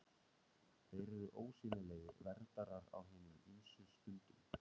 Þeir eru ósýnilegir verndarar á hinum ýmsu stundum.